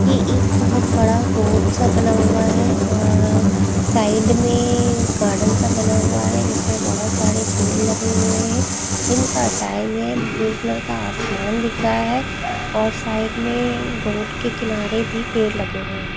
ये एक बहुत बड़ा रोड सा बना हुआ है और साइड में गार्डन सा बना हुआ है जिसमें बहुत सारे पेर लगे हुए हैं दिन का टाइम है आसमान दिखा है और साइड में रोड के किनारे भी पेड़ लगे हुए हैं।